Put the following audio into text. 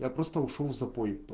я просто ушёл в запой